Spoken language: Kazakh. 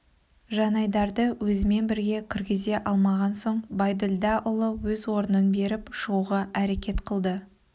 жанайдарды өзімен бірге кіргізе алмаған соң байділдаұлы өз орнын беріп шығуға әрекет қылады